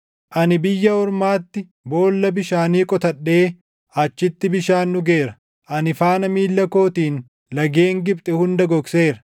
Ani biyya ormaatti boolla bishaanii qotadhee achitti bishaan dhugeera. Ani faana miilla kootiin lageen Gibxi hunda gogseera.’